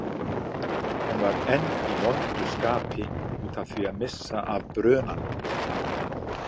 Hún var enn í vondu skapi út af því að missa af brunanum.